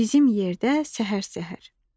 Bizim yerdə səhər-səhər.